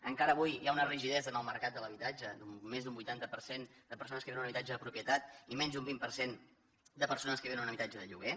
encara avui hi ha una rigidesa en el mercat de l’habitatge amb més d’un vuitanta per cent de persones que viuen en un habitatge de propietat i menys d’un vint per cent de persones que viuen en un habitatge de lloguer